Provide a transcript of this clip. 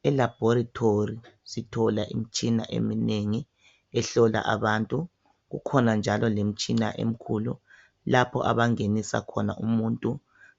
Kuselaboratory sithola imitshina ehlola abantu, kukhona njalo lemtshina emkhulu lapho abangenisa khona umuntu